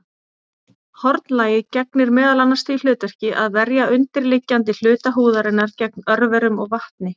Hornlagið gegnir meðal annars því hlutverki að verja undirliggjandi hluta húðarinnar gegn örverum og vatni.